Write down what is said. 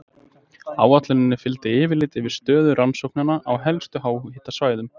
Áætluninni fylgdi yfirlit yfir stöðu rannsókna á helstu háhitasvæðum.